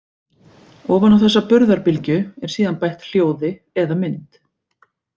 Ofan á þessa burðarbylgju er síðan bætt hljóði eða mynd.